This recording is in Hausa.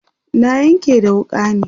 na Yanƙe da wuƙa ne